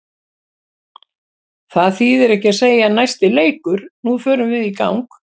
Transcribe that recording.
Það þýðir ekki að segja næsti leikur, nú förum við í gang.